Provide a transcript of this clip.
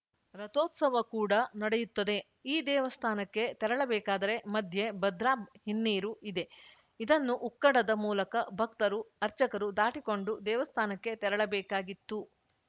ರಥೋತ್ಸವ ಕೂಡ ನಡೆಯುತ್ತದೆ ಈ ದೇವಸ್ಥಾನಕ್ಕೆ ತೆರಳಬೇಕಾದರೆ ಮಧ್ಯೆ ಭದ್ರಾ ಹಿನ್ನೀರು ಇದೆ ಇದನ್ನು ಉಕ್ಕಡದ ಮೂಲಕ ಭಕ್ತರು ಅರ್ಚಕರು ದಾಟಿಕೊಂಡು ದೇವಸ್ಥಾನಕ್ಕೆ ತೆರಳಬೇಕಾಗಿತ್ತು